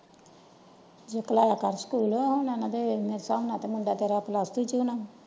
ਸ਼ੁਕਲਾ ਦਾ ਘਰ ਸਕੂਲ ਏ ਨਾ ਹਨ ਦਾ ਮੇਰੇ ਸਾਮਣੇ ਨਾਲੇ ਮੁੰਡਾ ਤੇਰਾ ਪਲੱਸ ਟੂ ਚ ਆ ਨਾ।